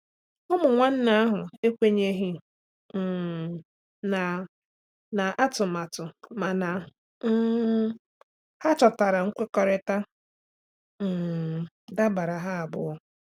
Ụmụ nwanne ahụ ekwenyeghị um na na atụmatụ mana um ha chọtara nkwekọrịta um dabara ha abụọ.